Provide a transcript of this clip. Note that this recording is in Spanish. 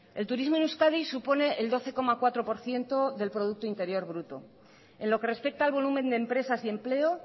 el turismo en euskadi supone el doce coma cuatro por ciento del producto interior bruto en lo que respecta al volumen de empresas y empleo